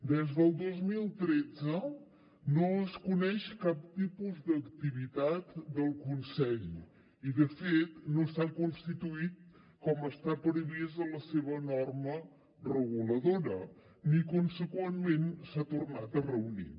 des del dos mil tretze no es coneix cap tipus d’activitat del consell i de fet no s’ha constituït com està previst en la seva norma reguladora ni conseqüentment s’ha tornat a reunir